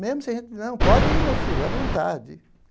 Mesmo se a gente, não, pode ir, meu filho, a vontade.